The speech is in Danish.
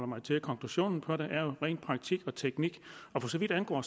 mig til at konklusionen på det det om ren praktik og teknik for så vidt angår